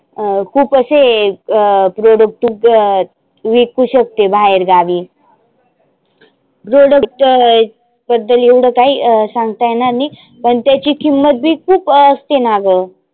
अं खुप असे अं product तु कर विकु शकते बाहेर गावी. product बद्दल एवढ काही सांगता येणार नाही. पण त्याची किंमत बी खुप असते ना गं.